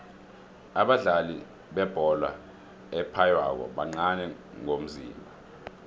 abadlali bebholo ephaywako bancani ngomzimba